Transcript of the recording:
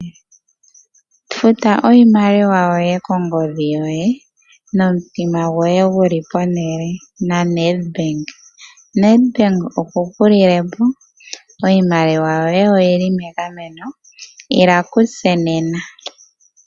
Futa iimaliwa yoye kongodhi yoye nomutima goye gu li pehala naNedbank oku ku lile po, iimaliwa yoye oyi li megameno. Ila kutse nena.